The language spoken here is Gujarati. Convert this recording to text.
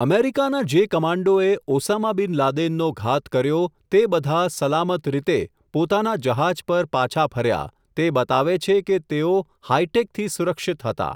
અમેરિકાના જે કમાન્ડોએ, ઓસામા બિન લાદેનનો ઘાત કર્યો, તે બધા સલામત રીતે, પોતાના જહાજ પર પાછા ફર્યા, તે બતાવે છે કે તેઓ હાઈટેકથી સુરક્ષિત હતા.